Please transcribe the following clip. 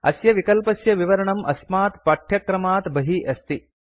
अस्य विकल्पस्य विवरणं अस्मात् पठ्यक्रमात् बहिः अस्ति